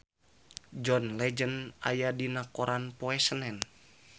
John Legend aya dina koran poe Senen